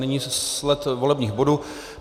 Nyní sled volebních bodů.